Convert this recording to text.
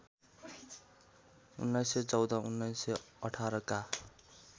१९१४ १९१८ का